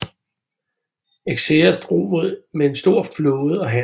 Xerxes drog med en stor flåde og hær